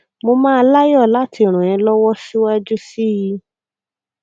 mo máa láyọ láti ràn é lọwọ síwájú sí i